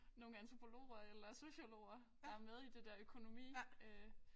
Nogle antropologer eller sociologer der med i det der økonomi øh